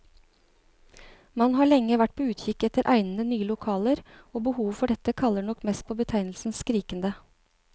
Man har lenge vært på utkikk etter egnede, nye lokaler, og behovet for dette kaller nok mest på betegnelsen skrikende.